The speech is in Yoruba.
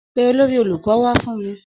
Pe olórí olùkọ́ wá fún mi.